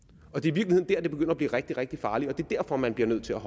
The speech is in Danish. det er det begynder at blive rigtig rigtig farligt og det er derfor man bliver nødt til at